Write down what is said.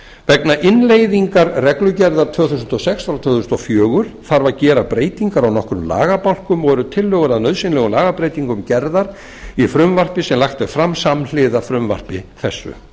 vegna innleiðingar reglugerðar tvö þúsund og sex tvö þúsund og fjögur þarf að gera breytingar á nokkrum lagabálkum og eru tillögur að nauðsynlegum lagabreytingum gerðar í frumvarpi sem lagt er fram samhliða frumvarpi þessu